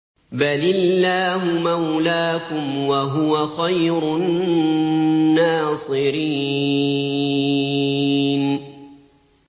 بَلِ اللَّهُ مَوْلَاكُمْ ۖ وَهُوَ خَيْرُ النَّاصِرِينَ